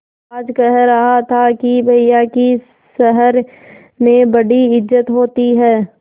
आज कह रहा था कि भैया की शहर में बड़ी इज्जत होती हैं